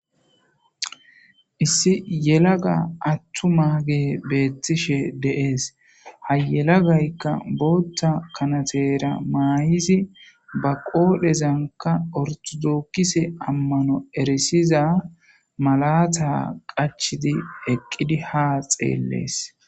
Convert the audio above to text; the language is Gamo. issi yelaga attu mage beettishe deees ha yelagaykka bootha kanatera maayidi ba qoodhezanka ortudookkise ammano erisiza malata qachidi eqqidi ha xeellees